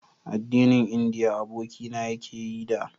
addinin indiya abokina ya ke yi da